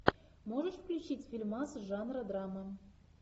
можешь включить фильмас жанра драма